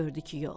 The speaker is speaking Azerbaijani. Gördü ki, yox.